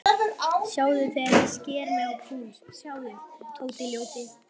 Sjáðu þegar ég sker mig á púls, sjáðu, Tóti ljóti.